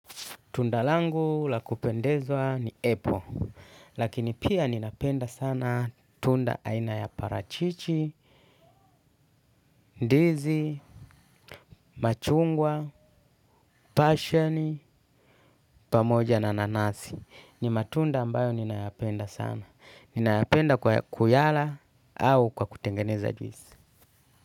Tundalangu la kupendezwa ni apple, lakini pia ninapenda sana tunda aina ya parachichi, ndizi, machungwa, pasheni, pamoja na nanasi. Ni matunda ambayo ninayapenda sana. Ninayapenda kwa kuyala au kwa kutengeneza juizi.